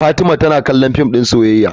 Fatima tana kallon fim din soyayya.